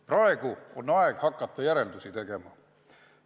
Praegu on aeg hakata järeldusi tegema.